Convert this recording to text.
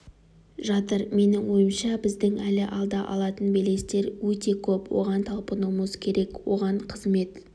жатыр менің ойымша біздің әлі алда алатын белестер өте көп оған талпынуымыз керек оған қызмет